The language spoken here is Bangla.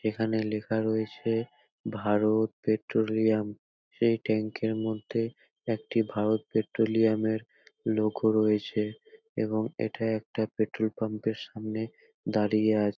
এখানে লেখা রয়েছে ভারত পেট্রোলিয়াম এই ট্যাংক এর মধ্যে একটি ভারত পেট্রোলিয়াম এর লোগো রয়েছে। এবং এটা একটা পেট্রোল পাম্প - এর সামনে দাঁড়িয়ে আছে ।